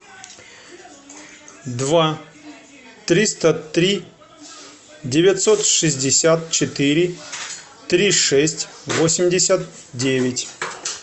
два триста три девятьсот шестьдесят четыре три шесть восемьдесят девять